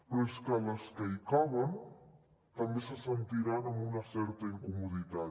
però és que les que hi caben també se sentiran amb una certa incomoditat